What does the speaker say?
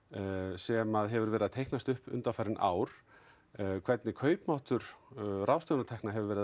sem hefur verið að teiknast upp undanfarin ár hvernig kaupmáttur ráðstöfunnar tekna hefur verið